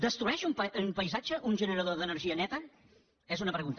destrueix un paisatge un generador d’energia neta és una pregunta